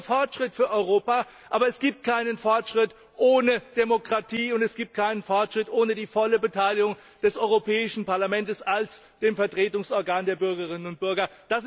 Das wäre Fortschritt für Europa, aber es gibt keinen Fortschritt ohne Demokratie, und es gibt keinen Fortschritt ohne die volle Beteiligung des Europäischen Parlaments als dem Vertretungsorgan der Bürgerinnen und Bürger.